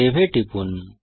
save এ টিপুন